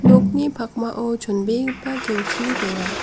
nokni pakmao chonbegipa kelki donga.